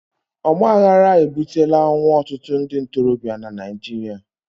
ọgbaghara ebutela ọnwụ ọtụtụ ndị ntorobịa na Naịjirịa